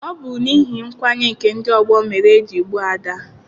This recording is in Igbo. Ọ bụ n'ihi nkwanye nke ndị ọgbọ mere eji gbuo Ada.